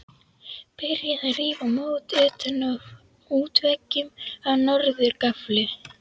Byrjað að rífa mót utan af útveggjum á norður gafli.